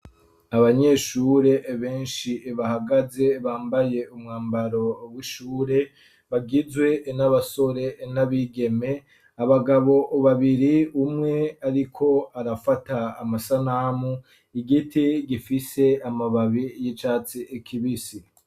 Abanyeshure benshi bahagaze bambaye umwambaro w'ishure bagizwe n'abasore n'abigeme abagabo babiri umwe ariko arafata amasanamu, igiti gifise amababi y'icatsi kibisi.